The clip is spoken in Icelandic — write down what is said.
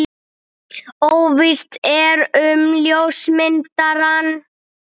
Óvíst er um ljósmyndarann.